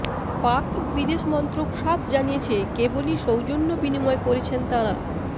পাক বিদেশ মন্ত্রক সাফ জানিয়েছে কেবলই সৌজন্য বিনময় করেছেন তাঁরা